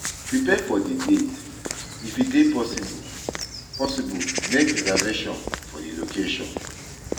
Prepare for di date, if e dey possible, possible, make reservation for di location